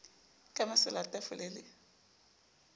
ka masela a tafole le